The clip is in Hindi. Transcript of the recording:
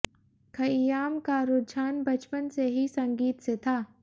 खय्याम का रुझान बचपन से ही संगीत से था